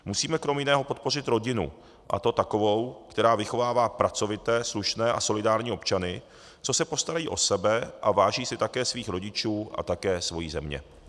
Musíme krom jiného podpořit rodinu, a to takovou, která vychovává pracovité, slušné a solidární občany, co se postarají o sebe a váží si také svých rodičů a také svojí země.